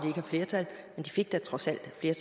har flertal men de fik da trods alt flere